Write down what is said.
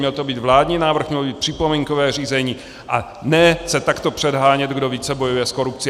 Měl to být vládní návrh, mělo být připomínkové řízení, a ne se takto předhánět, kdo více bojuje s korupcí.